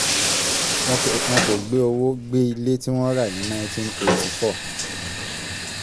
wọn ke wọn kò gbé owó gbé ilé tí wọ́n rà ní nineteen eighty four